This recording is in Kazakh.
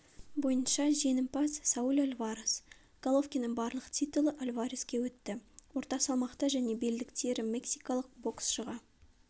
бойынша жеңімпаз сауль альварес головкиннің барлық титулы альвареске өтті орта салмақта және белдіктері мексикалық боксшыға